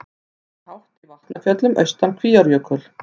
Hinn er hátt í Vatnafjöllum austan við Kvíárjökul.